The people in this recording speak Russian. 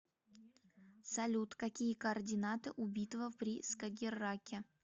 салют какие координаты у битва при скагерраке